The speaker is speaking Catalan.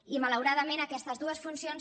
i malauradament aquestes dues funcions